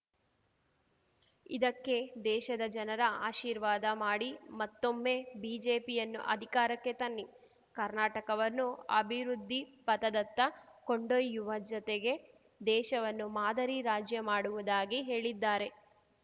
ಇದಕ್ಕೆ ದೇಶದ ಜನರ ಆಶೀರ್ವಾದ ಮಾಡಿ ಮತ್ತೊಮ್ಮೆ ಬಿಜೆಪಿಯನ್ನು ಅಧಿಕಾರಕ್ಕೆ ತನ್ನಿ ಕರ್ನಾಟಕವನ್ನು ಅಭಿವೃದ್ಧಿಪಥದತ್ತ ಕೊಂಡೊಯ್ಯುವ ಜೊತೆಗೆ ದೇಶವನ್ನು ಮಾದರಿ ರಾಜ್ಯ ಮಾಡುವುದಾಗಿ ಹೇಳಿದ್ದಾರೆ